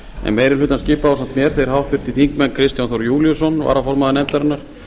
en meiri hlutann skipa ásamt mér þeir háttvirtir þingmenn kristján þór júlíusson varaformaður nefndarinnar